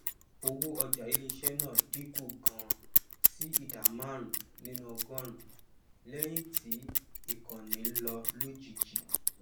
owó ọjà iléiṣé náà dín kù ganan sí ìdá márùnún nínú ọgọrùnún lẹyìn tí ìkànnì lọ lójijì